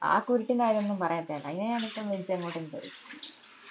ആ കുരുട്ടിന്റെ കാര്യം ഒന്നും പറയാതെയാ നല്ലേ അയിനാ ഞാൻ പെട്ടെന്ന് വലിച്ചു എങ്ങോട്ടെങ്കിലും എറിയും